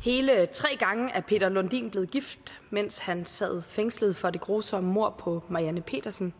hele tre gange er peter lundin blevet gift mens han har siddet fængslet for det grusomme mord på marianne pedersen